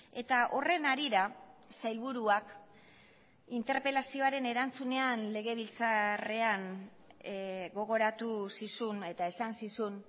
eta horren harira sailburuak interpelazioaren erantzunean legebiltzarrean gogoratu zizun eta esan zizun